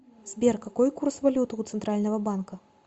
сбер какой курс валюты у центрального банка